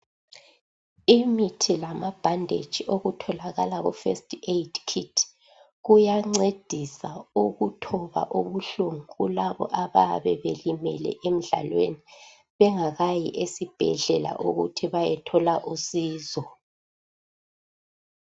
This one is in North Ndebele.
Imithi lamabhanditshi okutholakala kufirst aid kit kuyancedisa ukuthoba ubuhlungu kulabo abayabe belimele emdlalweni bengakayi esibhedlela ukuthi beyethola usizo.